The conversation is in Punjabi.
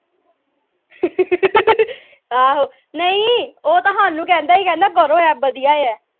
ਆਹੋ ਨਹੀਂ ਉਹ ਤਾਂ ਸਾਨੂ ਕਹਿੰਦਾ ਸੀ ਕਰੋ ਇਹ ਵਧੀਆ ਆ